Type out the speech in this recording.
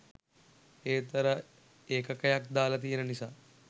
ඒත් අර ඒකකයක් දාල තියෙන නිසා